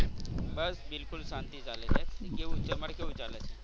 બસ બિલકુલ શાંતી ચાલે છે. કેવું તમાર કેવું ચાલે છે?